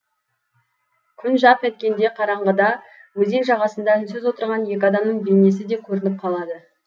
күн жарқ еткенде қараңғыда өзен жағасында үнсіз отырған екі адамның бейнесі де көрініп қалады